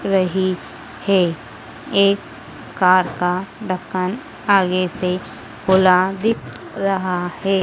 रहे हैं। एक कार का ढक्कन आगे से खुला दिख रहा है।